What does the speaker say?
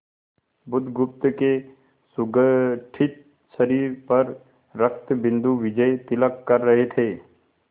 बुधगुप्त के सुगठित शरीर पर रक्तबिंदु विजयतिलक कर रहे थे